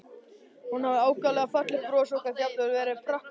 Hún hafði ákaflega fallegt bros og gat jafnvel verið prakkaraleg.